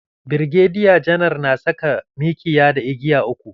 Birgediya Janar na saka mikiya da igiya uku.